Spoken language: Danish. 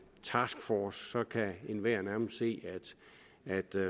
taskforce så kan enhver nærmest se at